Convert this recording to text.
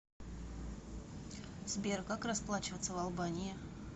сбер как расплачиваться в албании